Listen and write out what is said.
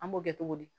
An b'o kɛ cogo di